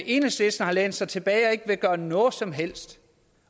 enhedslisten har lænet sig tilbage og ikke har villet gøre noget som helst